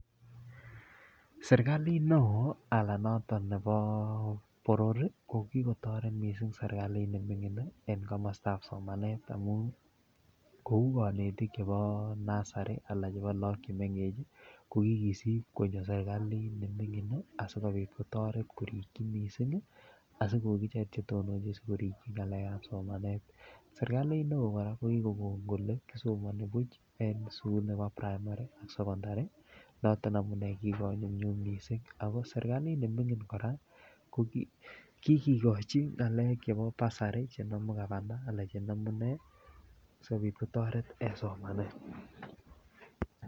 Serkalit neoo Alan noto nebo boror ko noton kit neming'in en kamastab somanet kouu kanetutik cheuu chebo nasari anan ko chemengech ih kokikisib konyo serkalit neming'in ih asikobit kotaret missing ih asikoek icheket komuch korib ng'alekab somanet sirkalit neo kora kokikokon kole kisomani buch en primary, secondary kora ko kikonyum nyum kikikochi ng'alek chebo bursary kasari chenamu gavana sikotaret en somanet